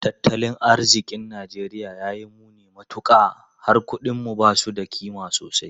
Tattalin arzikin Najeriya ya yi muni matuka, har kudinmu ba su da kima sosai.